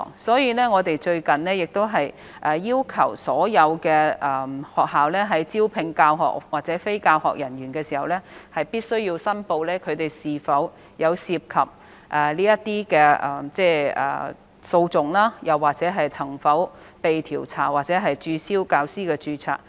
因此，我們最近已要求所有學校，在招聘教學或非教學人員時，必須申報他們有否涉及訴訟，或曾否被調查或註銷教師的註冊。